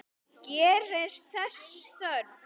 Gerist þess þörf.